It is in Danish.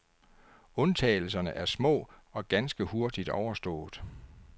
Undtagelserne er små og ganske hurtigt overstået.